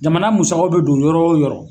Jamana musakaw be don yɔrɔ wo yɔrɔ